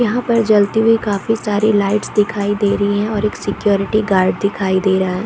यहाँ पर जलती हुई काफी सारे लाइट्स दिखाई दे रही है और एक सिक्योरिटी गार्ड दिखाई दे रहा--